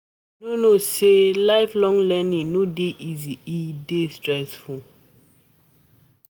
You no know sey lifelong learning no dey easy? e dey stressful.